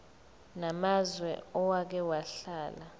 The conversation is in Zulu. namazwe owake wahlala